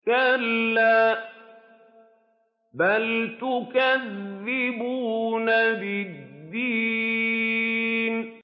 كَلَّا بَلْ تُكَذِّبُونَ بِالدِّينِ